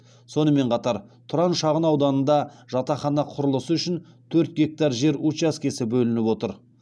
сонымен қатар тұран шағын ауданында жатақхана құрылысы үшін төрт гектар жер учаскесі бөлініп отыр